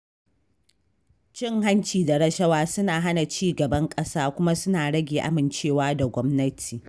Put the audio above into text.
Cin hanci da rashawa suna hana cigaban ƙasa kuma suna rage amincewa da gwamnati.